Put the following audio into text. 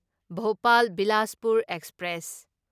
Bhopal Bilaspur express